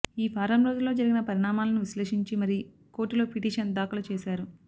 ఈ వారం రోజుల్లో జరిగిన పరిణామాలను విశ్లేషించి మరీ కోర్టులో పిటిషన్ దాఖలు చేశారు